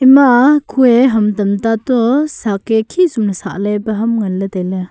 ima ku a ham tamta toh sak a khesum ley sakley kya ham ngan tailey.